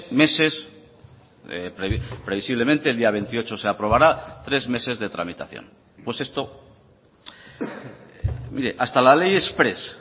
meses previsiblemente el día veintiocho se aprobará tres meses de tramitación pues esto mire hasta la ley exprés